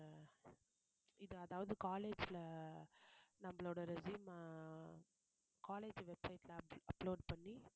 இது அதாவது college ல நம்மளோட resume ஆ college websites ல up~ upload பண்ணி